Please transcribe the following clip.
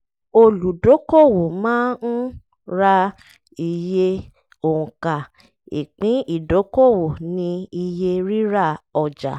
olùdókòwò máa ń ra iye òǹkà ipin idokowo ni iye rírà ọjà.